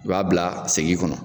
U b'a bila segi kɔnɔ.